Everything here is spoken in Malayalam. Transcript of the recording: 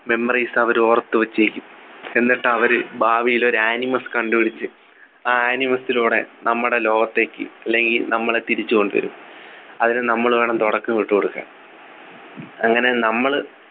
memories അവര് ഓർത്തു വച്ചിരിക്കും എന്നിട്ട് അവര് ഭാവിയിൽ ഒരു animous കണ്ടുപിടിച്ച് ആ animous ലൂടെ നമ്മുടെ ലോകത്തേക്ക് അല്ലെങ്കിൽ നമ്മളെ തിരിച്ചുകൊണ്ടുവരും അതിന് നമ്മൾ വേണം തുടക്കമിട്ടുകൊടുക്കാൻ അങ്ങനെ നമ്മൾ